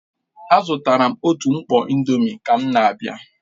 Azụtara m otu mkpọ indomie ka m na-abịa